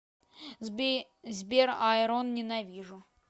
сбер айрон ненавижу